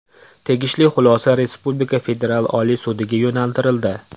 Tegishli xulosa respublika Federal oliy sudiga yo‘naltirildi.